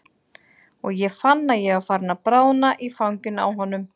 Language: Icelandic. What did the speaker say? Og ég fann að ég var farin að bráðna í fanginu á honum.